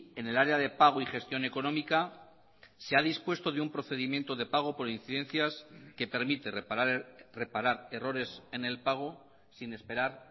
en el área de pago y gestión económica se ha dispuesto de un procedimiento de pago por incidencias que permite reparar errores en el pago sin esperar